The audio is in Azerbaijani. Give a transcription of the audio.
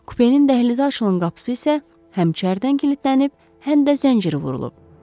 Kupenin dəhlizə açılan qapısı isə həmçəridən kilidlənib, həm də zəncir vurulub.